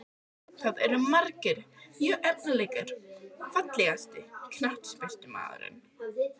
Það eru margar mjög efnilegar Fallegasti knattspyrnumaðurinn?